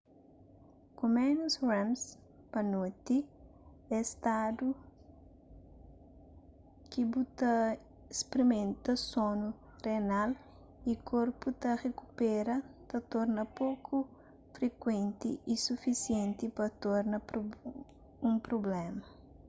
ku ménus rems pa noti es stadu ki bu ta sprimenta sonu renal y korpu ta rikupera ta torna poku frikuenti u sufisienti pa torna un prubléma